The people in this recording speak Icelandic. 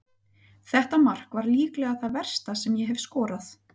Þetta mark var líklega það versta sem ég hef skorað.